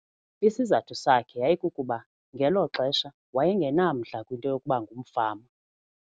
Isizathu sakhe yayikukuba ngelo xesha waye ngenamdla kwinto yokuba ngumfama.